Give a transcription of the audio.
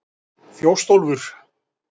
Þjóstólfur